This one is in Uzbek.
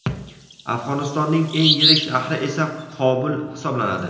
Afg‘onistonning eng yirik shahri esa Qobul hisoblanadi.